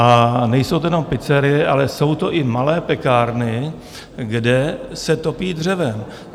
A nejsou to jenom pizzerie, ale jsou to i malé pekárny, kde se topí dřevem.